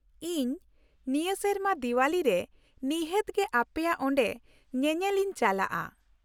ᱤᱧ ᱱᱤᱭᱟᱹ ᱥᱮᱨᱢᱟ ᱫᱤᱣᱟᱞᱤ ᱨᱮ ᱱᱤᱦᱟᱹᱛ ᱜᱮ ᱟᱯᱮᱭᱟᱜ ᱚᱸᱰᱮ ᱧᱮᱧᱮᱞ ᱤᱧ ᱪᱟᱞᱟᱜᱼᱟ ᱾